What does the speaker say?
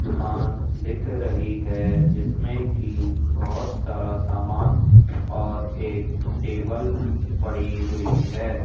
दुकान दिख रही है जिसमें की बहोत सारा सामान और एक टेबल पड़ी हुई है।